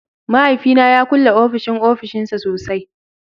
Mahaifina ya kulle ofishin ofishinsa sosai